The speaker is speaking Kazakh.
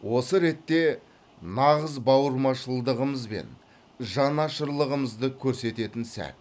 осы ретте нағыз бауырмашылдығымыз бен жанашырлығымызды көрсететін сәт